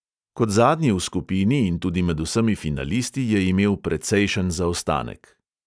Kot zadnji v skupini in tudi med vsemi finalisti je imel precejšen zaostanek.